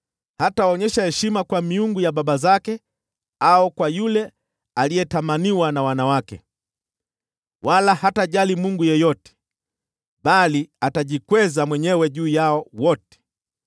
Hataonyesha heshima kwa miungu ya baba zake au kwa yule aliyetamaniwa na wanawake, wala hatajali mungu yeyote, bali atajikweza mwenyewe juu yao wote.